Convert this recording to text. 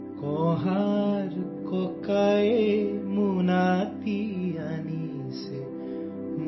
آسامی sound clip 35 second Urdu ترجمہ